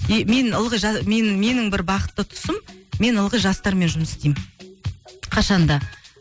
и мен ылғи мен менің бір бақытты тұсым мен ылғи жастармен жұмыс істеймін қашан да